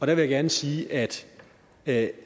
vil jeg gerne sige at at